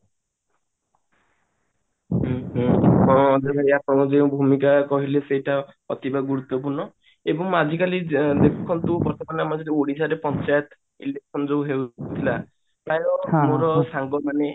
ତ ଯୋଉ ଭୂମିକା କହିଲି ସେ ତ ଅତି ଗୁରୁତ୍ବପୂର୍ଣ ଏବଂ ଆଜିକାଲି ଯୋଉ ଓଡିଶାରେ ପଞ୍ଚାୟତ election ଯୋଉ ଥିଲା ତଦ୍ୱାରା ଆମର ମାନେ